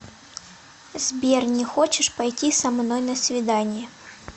сбер не хочешь пойти со мной на свидание